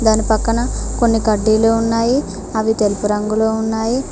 దాని పక్కన కొన్ని కడ్డీలు ఉన్నాయి అవి తెలుపు రంగులో ఉన్నాయి.